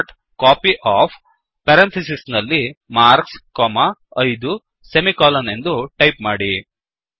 copyOfಮಾರ್ಕ್ಸ್ 5 ಎಂದು ಟೈಪ್ ಮಾಡಿ